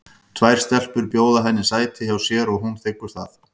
Tvær stelpur bjóða henni sæti hjá sér og hún þiggur það.